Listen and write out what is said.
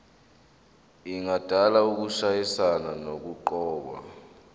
engadala ukushayisana nokuqokwa